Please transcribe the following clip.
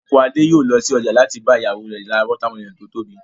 Unku Adé yòó lọ sí ọjà láti bá ìyàwó rẹ̀ ra watermelon tó tóbi